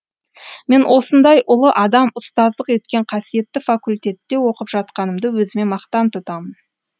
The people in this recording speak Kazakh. мен осындай ұлы адам ұстаздық еткен қасиетті факультетте оқып жатқанымды өзіме мақтан тұтамын